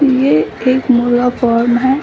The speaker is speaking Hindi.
यह एक मुर्गा फॉर्म है।